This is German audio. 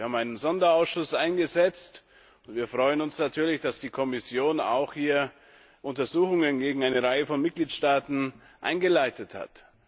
Wir haben einen Sonderausschuss eingesetzt, und wir freuen uns natürlich, dass die Kommission hier auch Untersuchungen gegen eine Reihe von Mitgliedstaaten eingeleitet hat.